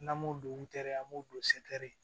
N'an m'o don u tɛ an m'o don